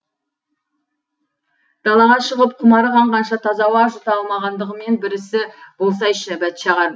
далаға шығып құмары қанғанша таза ауа жұта алмағандығымен бір ісі болсайшы бәтшағар